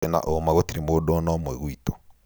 Ndĩna ũũma gũtirĩ mũndũ ona ũmwe gwitũ